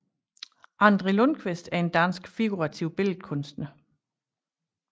André Lundquist er en dansk figurativ billedkunstner